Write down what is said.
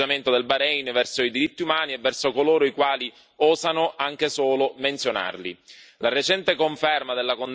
Questa è la chiara dimostrazione dell'atteggiamento del Bahrein verso i diritti umani e verso coloro i quali osano anche solo menzionarli.